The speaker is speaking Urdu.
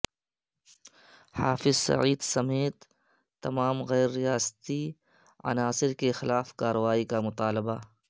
حافظ سعید سمیت تمام غیر ریاستی عناصر کے خلاف کارروائی کا مطالبہ